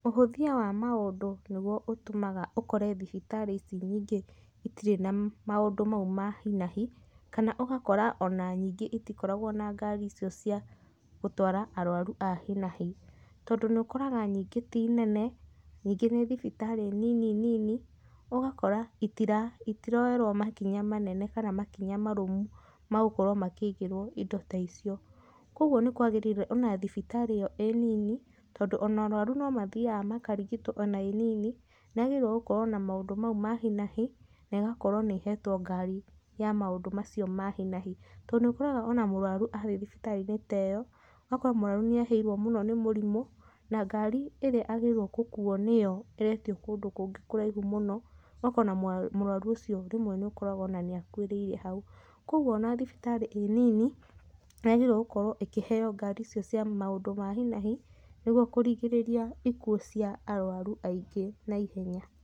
Ũhũthia wa maũndũ nĩguo ũtũmaga ũkore thibitarĩ ici nyingĩ itirĩ na maũndũ mau ma hi na hi kana ũgakora ona nyingĩ itikoragwo na ngari icio cia gũtwara arwaru a hi na hi. Tondũ nĩũkoraga nyingĩ ti nene, nyingĩ nĩ thibitarĩ nini nini ũgakora itiroyerwo makinya manene kana makinya marũmu magũkorwo makĩigĩrwo indo ta icio. Koguo nĩ kwagĩrĩire ona thibitarĩ ĩyo ĩĩ nini tondũ ona arwaru no mathiyaga makarigitwo ona ĩnini, nĩyagĩrĩirwo gukorwo na maũndũ mau ma hi na hi na ĩgakorwo nĩ ihetwo ngari ya maũndũ macio ma hi na hi. To nĩũkoraga ona mũrwaru athiĩ thibitarĩ ta ĩyo ũgakora mũrwaru nĩehĩirwo mũno nĩ mũrimũ na ngari ĩria agĩrĩirwo gũkuwo nĩyo ĩretio kũndũ kũngĩ kũraihu mũno, ũgakora ona mũrwaru ũcio rĩmwe nĩũkoraga ona nĩakuĩrĩire hau. Koguo ona thibitarĩ ĩnini nĩyagĩrĩirwo gũkorwo ikĩheyo ngari icio cia maũndũ ma hi na hi nĩguo kũrigĩrĩria ikuũ cia arwaru aingĩ naihenya.